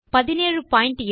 17 bit